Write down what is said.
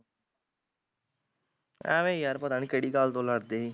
ਅਵੇ ਈ ਯਾਰ ਪਤਾ ਨੀ ਕਕਿਹੜੀ ਗੱਲ ਤੋਂ ਲੜਦੇ ਸੀ